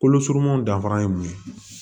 Kolo surumannw danfara ye mun ye